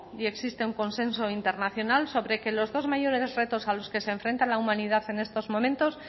y existe un consenso internacional sobre que los dos mayores retos a los que se enfrenta la humanidad en estos momentos